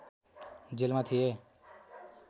जेलमा थिए